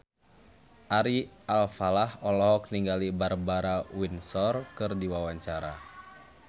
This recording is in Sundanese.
Ari Alfalah olohok ningali Barbara Windsor keur diwawancara